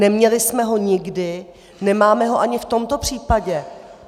Neměli jsme ho nikdy, nemáme ho ani v tomto případě.